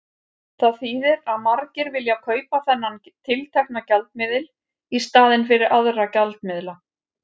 Það þýðir að margir vilja kaupa þennan tiltekna gjaldmiðil í staðinn fyrir aðra gjaldmiðla.